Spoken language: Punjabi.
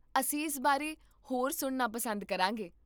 ਅਸੀਂ ਇਸ ਬਾਰੇ ਹੋਰ ਸੁਣਨਾ ਪਸੰਦ ਕਰਾਂਗੇ